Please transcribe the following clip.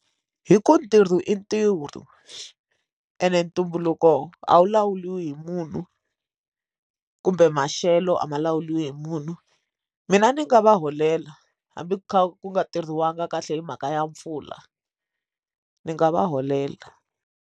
Hi ku ntirho i ntirho ene ntumbuluko a wu lawuriwi hi munhu kumbe maxelo a ma lawuriwi hi munhu mina ni nga va holela hambi ku kha ku nga tirhisiwangi kahle hi mhaka ya mpfula ndzi nga va holela.